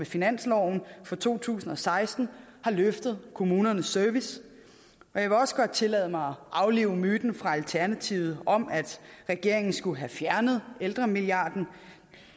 finansloven for to tusind og seksten har løftet kommunernes service jeg vil også godt tillade mig at aflive myten fra alternativet om at regeringen skulle have fjernet ældremilliarden